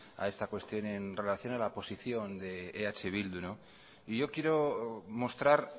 a esta cuestión en relación a la posición de eh bildu y yo quiero mostrar